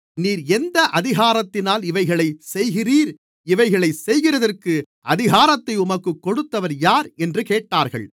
நீர் எந்த அதிகாரத்தினால் இவைகளைச் செய்கிறீர் இவைகளைச் செய்கிறதற்கு அதிகாரத்தை உமக்குக் கொடுத்தவர் யார் என்று கேட்டார்கள்